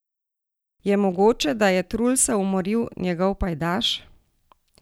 Je mogoče, da je Trulsa umoril njegov pajdaš?